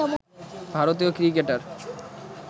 ভারতীয় ক্রিকেটার